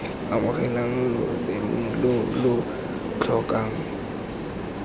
amogela lotseno lo lo tlhokang